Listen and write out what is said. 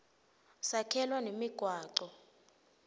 sakhelwa nemigwaco